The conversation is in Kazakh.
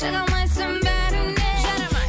жарамайсың бәріне жарамай